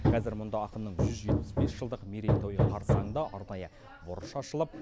қазір мұнда ақынның жүз жетпіс бес жылдық мерейтойы қарсаңында арнайы бұрыш ашылып